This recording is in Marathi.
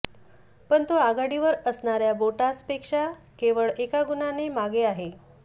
पण तो आघाडीवर असणाऱया बोटासपेक्षा केवळ एका गुणाने मागे आहे